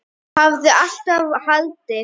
Hafði alltaf haldið.